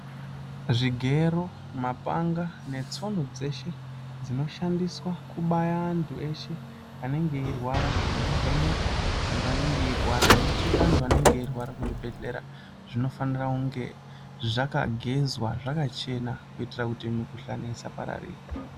Zvigero mapanga netsono dzeshe dzinoshandiswa kubaya antu eshe anenge eyirwarwa nekuvheneka antu anenge eyirwara nekucheka antu anenge eyirwara kuzvibhedhlera zvinofanira kunge zvakagezwa zvakachena kutira kuti mikuhlane isapararira.